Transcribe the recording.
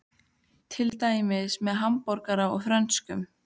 Til dæmis með hamborgara og frönskum.